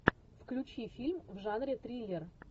включи фильм в жанре триллер